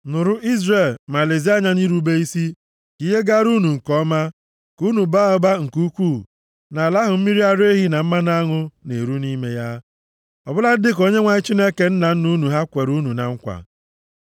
Nụrụ Izrel ma lezie anya nʼirube isi, ka ihe gaara unu nke ọma, ka unu baa ụba nke ukwuu nʼala ahụ mmiri ara ehi na mmanụ aṅụ na-eru nʼime ya, ọ bụladị dịka Onyenwe anyị Chineke nna nna unu ha kwere unu na nkwa.